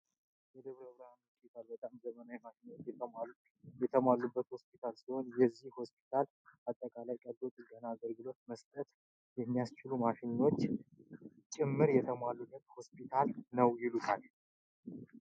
የደብረ ብርሃን ሆስፒታል በጣም ዘመናዊ ማሽኖች የተሟሉበት ሆስፒታል ሲሆን የዚህ ሆስፒታል አጠቃላይ ቀልዶ ጥገና አገልግሎት መስጠት የሚያስችሉ ማሸኖች ጨምር የተሟላበት ሆስፒታል ነው።